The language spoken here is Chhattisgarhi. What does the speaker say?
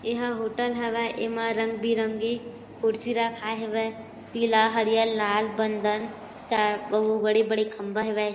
एहा होटल हवय एमा रंग-बिरंगी खुर्सी रखाए हेवय पीला हरियर लाल बंदन अऊ बड़े-बड़े खंबा हेवय ।